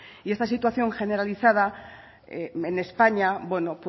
y esta situación generalizada en españa bueno